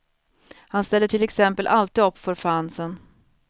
Han ställer till exempel alltid upp för fansen.